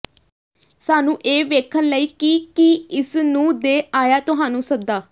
ਸਾਨੂੰ ਇਹ ਵੇਖਣ ਲਈ ਕਿ ਕੀ ਇਸ ਨੂੰ ਦੇ ਆਇਆ ਤੁਹਾਨੂੰ ਸੱਦਾ